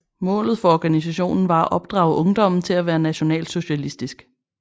Målet for organisationen var at opdrage ungdommen til at være nationalsocialistisk